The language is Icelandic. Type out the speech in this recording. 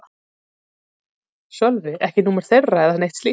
Sölvi: Ekki númer þeirra eða neitt slíkt?